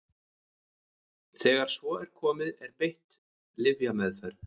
Þegar svo er komið er beitt lyfjameðferð.